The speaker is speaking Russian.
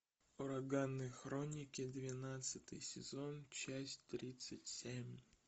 ураганные хроники двенадцатый сезон часть тридцать семь